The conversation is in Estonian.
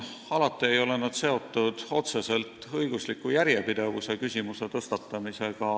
Alati ei ole need seotud otseselt õigusliku järjepidevusega.